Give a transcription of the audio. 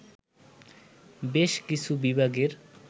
বেশ কিছু বিভাগের